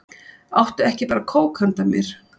Áttu ekki bara kók handa mér?